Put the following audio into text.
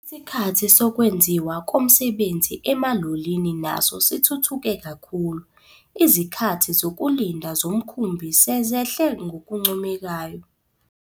Isikhathi sokwenziwa komsebenzi emalolini naso sithuthuke kakhulu. Izikhathi zokulinda zomkhumbi sezehle ngokuncomekayo.